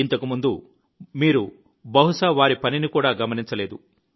ఇంతకుముందు మీరు బహుశా వారి పనిని కూడా గమనించలేదు